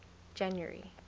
january